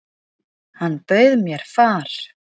Hann bauð mér far.